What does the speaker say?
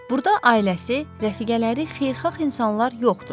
Burda ailəsi, rəfiqələri, xeyirxah insanlar yoxdu.